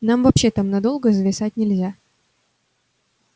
нам вообще там надолго зависать нельзя